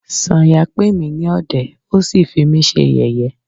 Sanya pè mí ní ọ̀dẹ̀,ó sí fí mí ṣe yẹ̀yé.